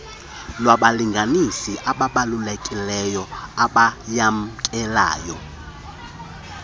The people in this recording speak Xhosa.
wabalinganiswa abaabalulekileyo abayamkelayo